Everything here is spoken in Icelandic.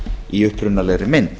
í upprunalegri mynd